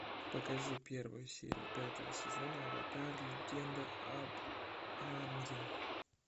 покажи первую серию пятого сезона аватар легенда об аанге